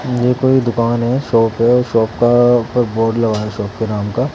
ये कोई दुकान है शॉप है शॉप का ऊपर बोर्ड लगाया शॉप के नाम का--